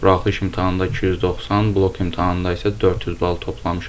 Buraxılış imtahanında 290, blok imtahanında isə 400 bal toplamışam.